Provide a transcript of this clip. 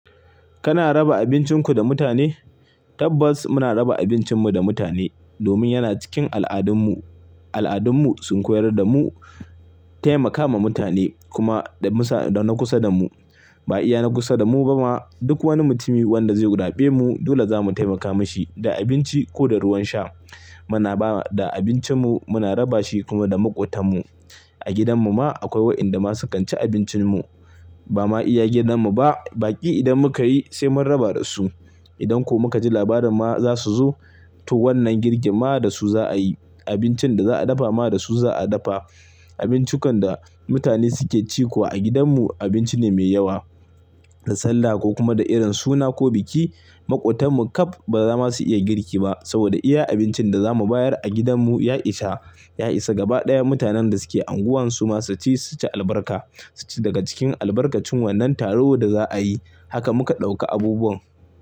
Kana raba abincinku da mutane? Tabbas muna raba abincinmu da mutane domin yana cikin al'adunmu. Al'adunmu sun koyar da mu taimaka mah mutane kuma da na kusa da mu. Ba iya na kusa da mu ba ma duk wani mutumi wanda zai gura be mu dole zamu taimaka mashi da abinci ko da ruwan sha. Muna ba da abincinmu muna raba shi kuma da maƙotanmu. A gidan mu ma akwai wa'inda ma sukan ci abincin mu. Ba ma iya gidan mu ba. Baki idan muka yi sai mun raba da su. Idan kuma ka ji labarin ma za su zo to wannan girki ma da su za a yi. Abincin da za a dafa ma da su za a dafa. Abincikan da mutane suke ci kuwa a gidan mu abinci ne mai yawa. Da sallah ko kuma da irin suna ko biki maƙotan mu ƙaf ba za ma su iya girki ba saboda iya abincin da za mu bayar a gidan mu ya isa. Ya isa gaba ɗaya mutanen da suke unguwan su ma su ci su ci albarka. Su ci daga cikin albarkacin wannan taro da za'a yi. Haka muka ɗauka abubuwan.